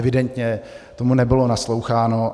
Evidentně tomu nebylo nasloucháno.